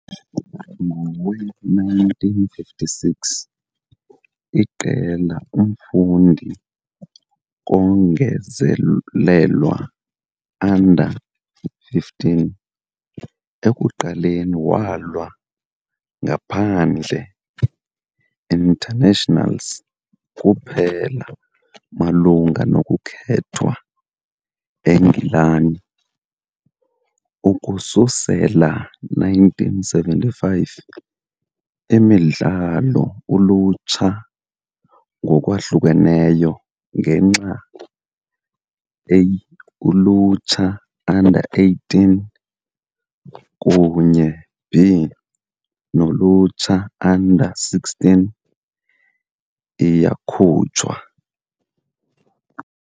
Ngowe-1956, iqela umfundi kongezelelwa, U 15, ekuqaleni walwa ngaphandle internationals kuphela malungana nokukhethwa eNgilani. Ukususela 1975 imidlalo Ulutsha ngokwahlukeneyo ngenxa A-ulutsha, U 18, kunye B-nolutsha, U 16, iyakhutshwa.